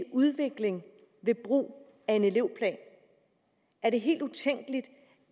udvikling ved brug af en elevplan er det helt utænkeligt